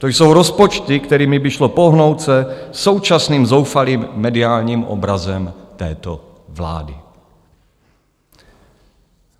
To jsou rozpočty, kterými by šlo pohnout se současným zoufalým mediálním obrazem této vlády.